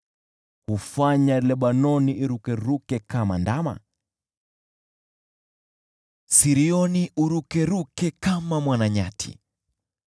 Hufanya Lebanoni irukaruke kama ndama, Sirioni urukaruke kama mwana nyati.